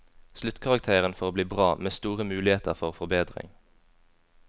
Sluttkarakteren får bli bra, med store muligheter for forbedring.